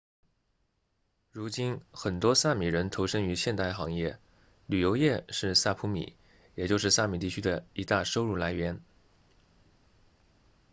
如今很多萨米人投身于现代行业旅游业是萨普米也就是萨米地区的一大收入来源